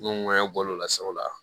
N'o ŋɛɲɛ bɔl'o la sabula